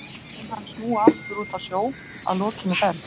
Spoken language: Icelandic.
En mun hann snúa aftur út á sjó að lokinni ferð?